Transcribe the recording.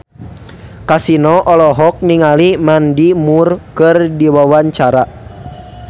Kasino olohok ningali Mandy Moore keur diwawancara